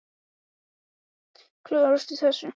Klöngrast í þessu orðahröngli sárfættur og geispandi.